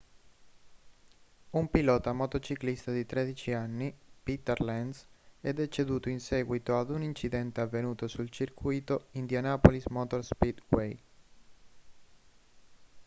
un pilota motociclista di 13 anni peter lenz è deceduto in seguito ad un incidente avvenuto sul circuito indianapolis motor speedway